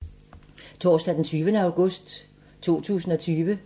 Torsdag d. 20. august 2020